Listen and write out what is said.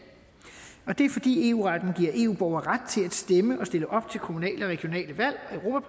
og det er fordi eu retten giver eu borgere ret til at stemme og stille op til kommunale og regionale valg og